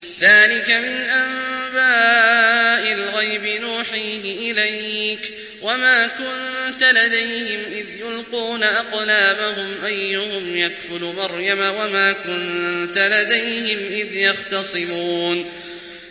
ذَٰلِكَ مِنْ أَنبَاءِ الْغَيْبِ نُوحِيهِ إِلَيْكَ ۚ وَمَا كُنتَ لَدَيْهِمْ إِذْ يُلْقُونَ أَقْلَامَهُمْ أَيُّهُمْ يَكْفُلُ مَرْيَمَ وَمَا كُنتَ لَدَيْهِمْ إِذْ يَخْتَصِمُونَ